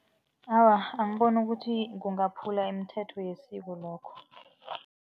Awa, angiboni ukuthi kungaphula imithetho yesiko lokho.